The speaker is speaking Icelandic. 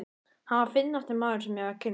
Hann var fyndnasti maður, sem ég hafði kynnst.